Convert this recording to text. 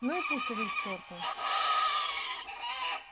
ну и пусть идут к чёрту